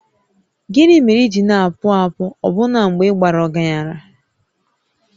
Gịnị mere i ji na-akpụ akpụ ọbụna mgbe ị bara ọgaranya?